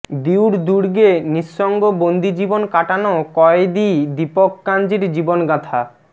দিউর দুর্গে নিঃসঙ্গ বন্দিজীবন কাটানো কয়েদি দীপক কাঞ্জির জীবনগাঁথা